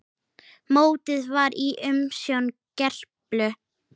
Mótið var í umsjón Gerplu.